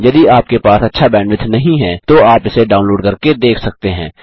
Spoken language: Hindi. यदि आपके पास अच्छा बैंडविड्थ नहीं है तो आप इसे डाउनलोड करके देख सकते हैं